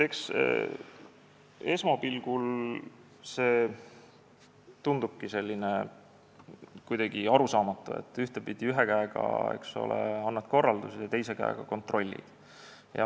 Eks esmapilgul tundubki see kuidagi arusaamatu, et ühe käega, eks ole, annad korraldusi ja teise käega kontrollid.